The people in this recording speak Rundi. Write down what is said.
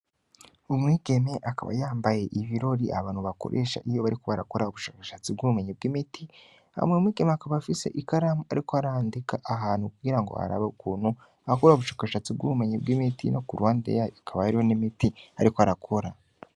Umwigeme akaba yambaye ibirori abantu bakoresha iyo barikubarakora ubushakashatsi bw'ubumenyi bw'imiti hamwe mwigeme akaba afise ikaramu, ariko harandika ahantu kugira ngo harabokunu akura ubushakashatsi bw'ubumenyi bw'imiti no ku rwande yayo akaba yariho n'imiti, ariko arakora.